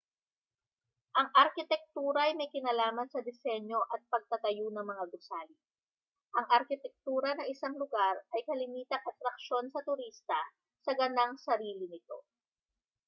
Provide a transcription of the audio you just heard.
ang arkitektura ay may kinalaman sa disenyo at pagtatayo ng mga gusali ang arkitektura ng isang lugar ay kalimitang atraksyon sa turista sa ganang sarili nito